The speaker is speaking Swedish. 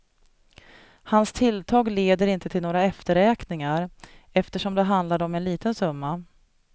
Hans tilltag leder inte till några efterräkningar, eftersom det handlade om en liten summa.